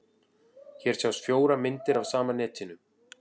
Hér sjást fjórar myndir af sama netinu.